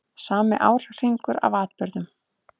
Sami árhringur af atburðum.